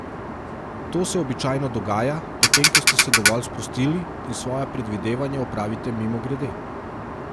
To se običajno dogaja, potem ko ste se dovolj sprostili, in svoja predvidevanja opravite mimogrede.